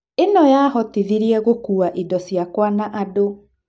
ĩno yahotithirie gũkua indo ciakwa na andũ.